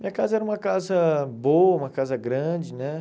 Minha casa era uma casa boa, uma casa grande, né?